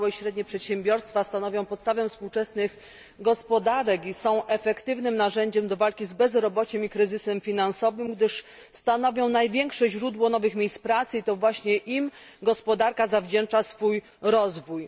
Małe i średnie przedsiębiorstwa stanowią podstawę współczesnych gospodarek i są efektywnym narzędziem do walki z bezrobociem i kryzysem finansowym, gdyż stanowią największe źródło nowych miejsc pracy, i to właśnie im gospodarka zawdzięcza swój rozwój.